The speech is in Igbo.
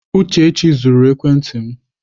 Uchechi zuru ekwenti m.